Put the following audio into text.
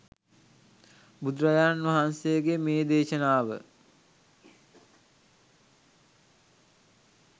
බුදුරජාණන් වහන්සේගේ මේ දේශනාව